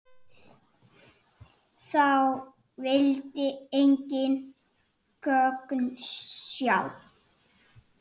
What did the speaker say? Sá vildi engin gögn sjá.